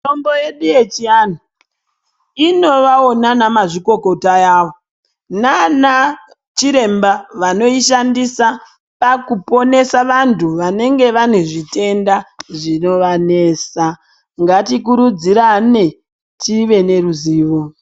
Mitombo yedu yechiantu inovawo nanamazvikokota yavo nanachiremba vanoishandisa pakuponesa vantu vanenge vanezvitenda zvinovanesa ngatikurudzirane tive neruzivo.